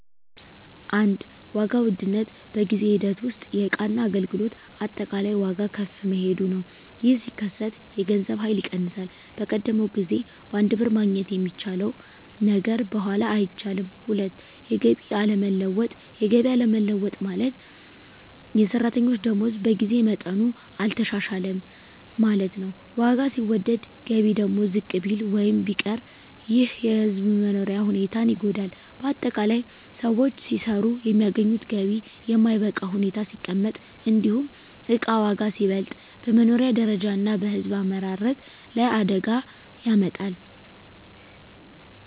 1. ዋጋ ውድነት በጊዜ ሂደት ውስጥ የእቃና አገልግሎት አጠቃላይ ዋጋ ከፍ መሄዱ ነው። ይህ ሲከሰት የገንዘብ ኃይል ይቀንሳል፤ በቀደመው ጊዜ በአንድ ብር ማግኘት የሚቻለው ነገር በኋላ አይቻልም። 2. የገቢ አለመለወጥ የገቢ አለመለወጥ ማለት፣ የሰራተኞች ደመወዝ በጊዜ መጠኑ አልተሻሻለም ማለት ነው። ዋጋ ሲወደድ ገቢ ደግሞ ዝቅ ቢል ወይም ቢቀር ይህ የሕዝብ መኖሪያ ሁኔታን ይጎዳል። ✅ በአጠቃላይ: ሰዎች ሲሰሩ የሚያገኙት ገቢ በማይበቃ ሁኔታ ሲቀመጥ፣ እንዲሁም እቃ ዋጋ ሲበልጥ፣ በመኖሪያ ደረጃ እና በሕዝብ አመራረት ላይ አደጋ ያመጣል።